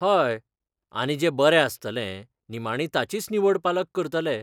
हय, आनी जें बरें आसतलें, निमाणी ताचीच निवड पालक करतले.